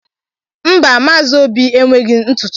Mba Maazi Óbì enweghị ntụtụ anwụ anwụ